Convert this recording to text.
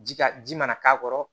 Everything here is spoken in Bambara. Ji ka ji mana k'a kɔrɔ